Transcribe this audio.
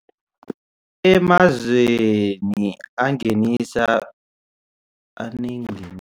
Emazweni angenisa anengeni